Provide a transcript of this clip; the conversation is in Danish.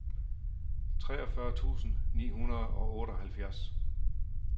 treogfyrre tusind ni hundrede og otteoghalvfjerds